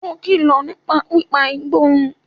Ó kìlọ̀ nípa pípa igbó run